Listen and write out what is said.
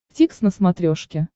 дтикс на смотрешке